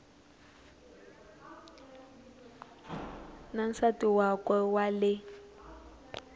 na nsati wakwe wa le